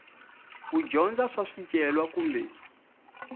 ku dyondza swa swicelwa kumbe